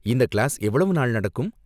இந்த கிளாஸ் எவ்வளவு நாள் நடக்கும்?